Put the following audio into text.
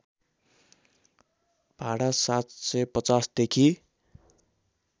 भाडा ७५० देखि